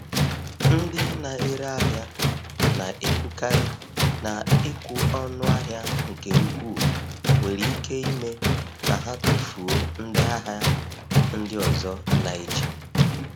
Ndị na-ere ahịa na-ekwukarị na ịkwụ ọnụ ahịa nke ukwuu nwere ike ime ka ha tufuo ndị ahịa ndị ọzọ na-eche.